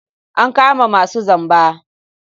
An kama masu zamba.